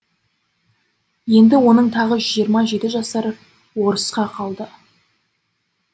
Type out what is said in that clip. енді оның тағы жиырма жеті жасар орысқа қалды